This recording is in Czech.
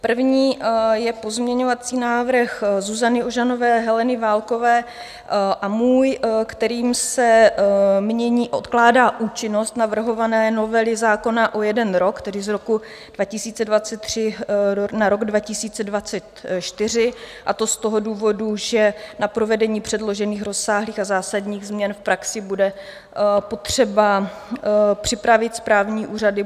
První je pozměňovací návrh Zuzany Ožanové, Heleny Válkové a můj, kterým se mění, odkládá účinnost navrhované novely zákona o jeden rok, tedy z roku 2023 na rok 2024, a to z toho důvodu, že na provedení předložených rozsáhlých a zásadních změn v praxi bude potřeba připravit správní úřady.